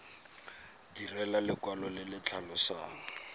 direlwa lekwalo le le tlhalosang